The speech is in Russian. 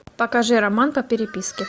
покажи роман по переписке